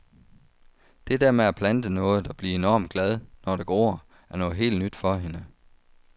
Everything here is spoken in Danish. Det der med at plante noget og blive enormt glad, når det gror, er noget helt nyt for hende.